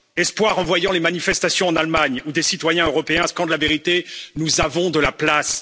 Espoir, en voyant les manifestations en Allemagne, où des citoyens européens scandent la vérité nous avons de la place.